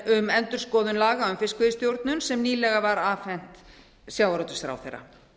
um endurskoðun laga um fiskveiðistjórn sem nýlega var afhent sjávarútvegsráðherra